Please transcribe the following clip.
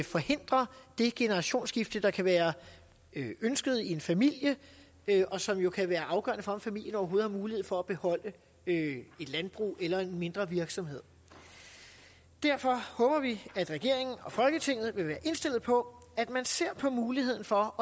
forhindre det generationsskifte der kan være ønsket i en familie og som jo kan være afgørende for om familien overhovedet har mulighed for at beholde et landbrug eller en mindre virksomhed derfor håber vi at regeringen og folketinget vil være indstillet på at man ser på muligheden for